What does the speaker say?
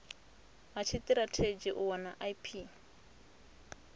ha tshitirathedzhi u wana ip